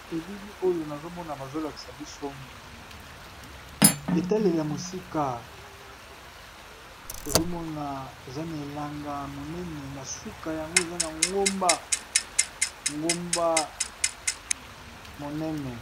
Elili oyo nazomona bazolakisa biso etale ya mosika tozomona eza na elanga monene na suka yango eza na ngomba ngomba monene.